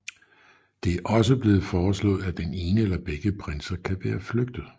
Det er også blevet foreslået at den ene eller begge prinser kan være flygtet